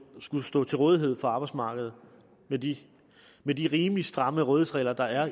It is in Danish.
skulle stå til rådighed for arbejdsmarkedet med de med de rimelig stramme rådighedsregler der er